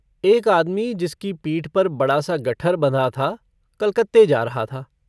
एक आदमी, जिसकी पीठ पर बड़ा-सा गट्ठर बँधा था, कलकत्ते जा रहा था।